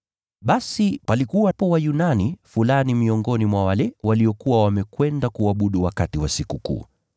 Basi palikuwa Wayunani fulani miongoni mwa wale waliokuwa wamekwenda kuabudu wakati wa Sikukuu.